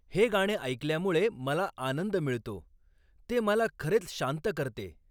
हे गाणे ऐकल्यामुळे मला आनंद मिळतो, ते मला खरेच शांत करते.